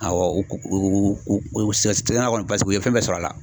Awɔ sisan kɔni paseke u ye fɛn bɛɛ sɔrɔ a la